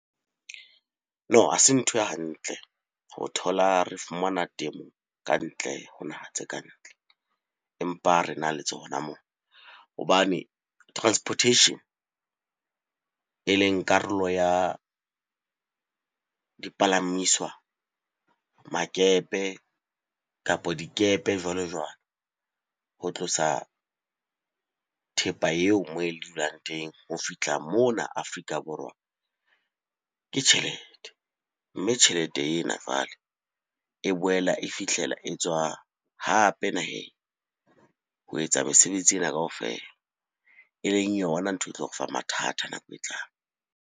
No, ha se ntho e hantle ho thola re fumana temo ka ntle ho naha tse kantle empa re na le tsona moo. Hobane transportation e leng karolo ya dipalamiswa, makepe, kapa dikepe jwalo-jwalo. Ho tlosa thepa eo moo e dulang teng ho fihla mona Afrika Borwa ke tjhelete. Mme tjhelete ena jwale e boela e fihlela e tswa hape naheng ho etsa mesebetsi ena kaofela. E leng yona ntho e tlo re fa mathata nako e tlang.